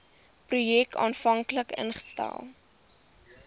projek aanvanklik ingestel